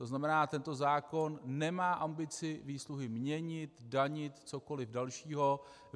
To znamená, tento zákon nemá ambici výsluhy měnit, danit, cokoliv dalšího.